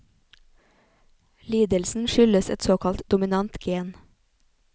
Lidelsen skyldes et såkalt dominant gen.